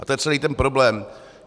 A to je celý ten problém.